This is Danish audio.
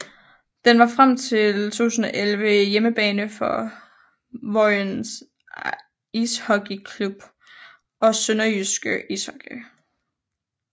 Den var frem til 2011 hjemmebane for Vojens Ishockey Klub og SønderjyskE Ishockey